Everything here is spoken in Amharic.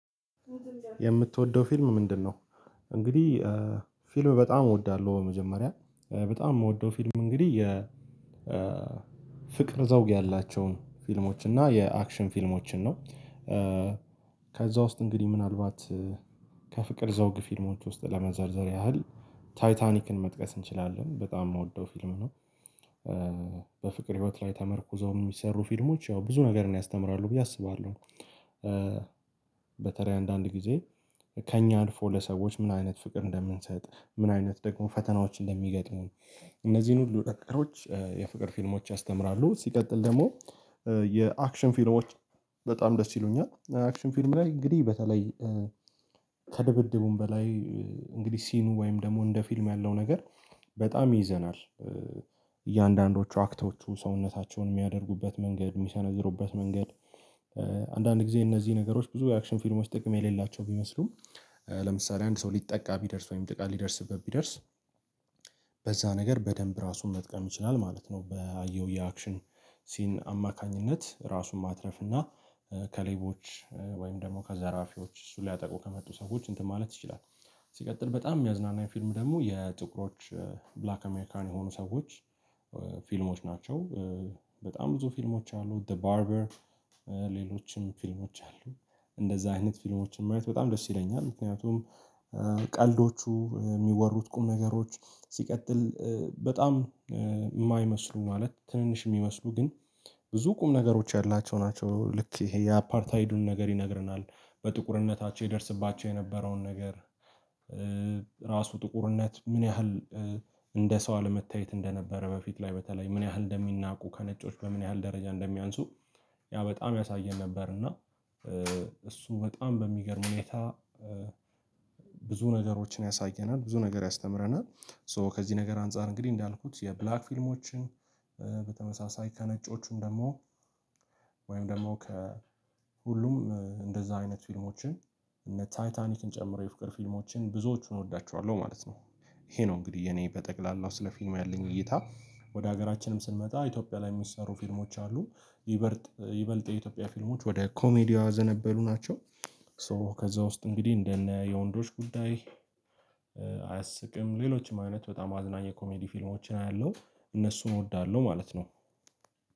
የምትወደው ፊልም ምንድነው? እንግዲህ ፊልም በጣም እወዳለሁ በመጀመሪያ። በጣም የምወደው ፊልም እንግዲህ የ ፍቅር ዘውግ ያላቸውን ፊልሞች እና የአክሽን ፊልሞችን ነው። ከዛ ውስጥ እንግዲህ ምናልባት ከፍቅር ዘውግ ፊልሞች ውስጥ ለመዘርዘር ያህል ታይታኒክን መጥቀስ እንችላለን በጣም የምወደው ፊልም ነው። በፍቅር ህይወት ላይ ተመርኩዘው የሚሰሩ ፊልሞች ያው ብዙ ነገርን ያስተምራሉ ብዬ አስባለሁ። በተለይ አንዳንድ ጊዜ ከእኛ አልፎ ለሰዎች ምን አይነት ፍቅር እንደምንሰጥ ምን አይነት ደግሞ ፈተናዎች እንደሚገጥሙን እነዚህን ሁሉ ነገሮች የፍቅር ፊልሞች ያስተምራሉ። ሲቀጥል ደግሞ የአክሽን ፊልሞች በጣም ደስ ይሉኛል። አክሽን ፊልም ላይ እንግዲህ በተለይ ከድብድቡም በላይ እንግዲህ ሲኑ ወይም ደግሞ እንደ ፊልም ያለው ነገር በጣም ይይዘናል። እያንዳንዶቹ አክቶቹ ሰውነታቸውን የሚያደርጉበት መንገድ፤ የሚሰነዝሩበት መንገድ አንዳንድ ጊዜ እነዚህ ነገሮች ብዙ የአክሽን ፊልሞች ጥቅም የሌላቸው ቢመስሉም ለምሳሌ አንድ ሰው ሊጠቃ ቢደርስ ወይም ጥቃት ሊደርስበት ቢደርስ በዛ ነገር በደንብ ራሱን መጥቀም ይችላል ማለት ነው። ባየው የአክሽን ሲን አማካኝነት ራሱን ማትረፍ እና ከሌቦች ወይም ደግሞ ከዘራፊዎች እሱን ሊያጠቁ ከመጡ ሰዎች እንትን ማለት ይችላል። ሲቀጥል በጣም የሚያዝናና ፊልም ደግሞ የጥቁሮች ብላክ አሜሪካን የሆኑ ሰዎች ፊልሞች ናቸው በጣም ብዙ ፊልሞች አሉ ዘ ባርበር ሌሎችም ፊልሞች አሉ። እንደዛ አይነት ፊልሞችን ማየት በጣም ደስ ይለኛል። ምክንያቱም ቀልዶቹ፤ የሚወሩት ቁም ነገሮች፤ ሲቀጥል በጣም የማይመስሉ ማለት ትንንሽ የሚመስሉ ግን ብዙ ቁም ነገሮች ያላቸው ናቸው። ልክ ይሄ የአፓርታይዱን ነገር ይነግረናል። በጥቁርነታቸው ይደርስባቸው የነበረውን ነገር ራሱ ጥቁርነት ምን ያህል እንደ ሰው አለመታየት እንደነበረ በፊት ላይ በተለይ ምን ያህል እንደሚናቁ ከነጮች በምን ያህል ደረጃ እንደሚያንሱ ያ በጣም ያሳየን ነበር እና እሱ በጣም በሚገርም ሁኔታ ብዙ ነገሮችን ያሳየናል ብዙ ነገር ያስተምረናል። ሶ ከዚህ ነገር አንፃር እንግዲህ እንዳልኩት የብላክ ፊልሞችን በተመሳሳይ ከነጮቹም ደግሞ ወይም ደግሞ ከሁሉም እንደዛ አይነት ፊልሞችን እነ ታይታኒክን ጨምሬ ፍቅር ፊልሞችን ብዙዎቹን እወዳቸዋለሁ ማለት ነው። ይሄ ነው እንግዲህ የኔ በጠቅላላው ስለ ፊልም ያለኝ እይታ። ወደ ሀገራችንም ስንመጣ ኢትዮጵያ ላይ የሚሰሩ ፊልሞች አሉ። ይበልጥ ይበልጥ የኢትዮጵያ ፊልሞች ወደ ኮሜዲው ያዘነበሉ ናቸው። ሶ ከዛ ውስጥ እንግዲህ እንደነ የወንዶች ጉዳይ፣ አያስቅም ሌሎችም አይነት በጣም አዝናኝ የኮሜዲ ፊልሞችን አያለሁ። እነሱን እወዳለሁ ማለት ነው።